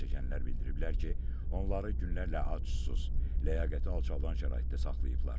Zərərçəkənlər bildiriblər ki, onları günlərlə ac, susuz, ləyaqəti alçaldan şəraitdə saxlayıblar.